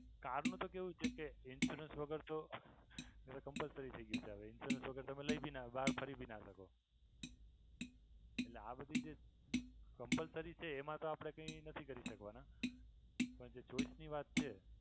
car નું તો કેવું છે કે insurance વગર તો હવે compulsory થઈ ગયું છે હવે insurance વગર તો તમે લઈ ભી ના શકો ખરીદી ના શકો એટલે આ બધી જે compulsory છે એમા તો આપણે કઈ નથી કરી શકવાના બધી ચોઇસની વાત છે.